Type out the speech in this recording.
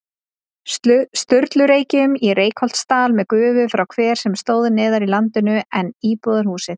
Sturlureykjum í Reykholtsdal með gufu frá hver sem stóð neðar í landinu en íbúðarhúsið.